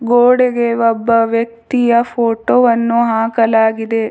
ಗೋಡೆಗೆ ಒಬ್ಬ ವ್ಯಕ್ತಿಯ ಫೋಟೋ ವನ್ನು ಹಾಕಲಾಗಿದೆ.